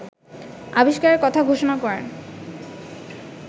আবিষ্কারের কথা ঘোষণা করেন